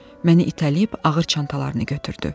Məni itələyib ağır çantalarını götürdü.